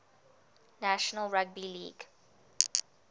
national rugby league